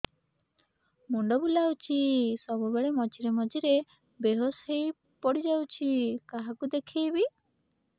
ମୁଣ୍ଡ ବୁଲାଉଛି ସବୁବେଳେ ମଝିରେ ମଝିରେ ବେହୋସ ହେଇ ପଡିଯାଉଛି କାହାକୁ ଦେଖେଇବି